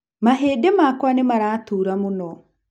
Mahĩndĩ makwa nĩ maratura mũno.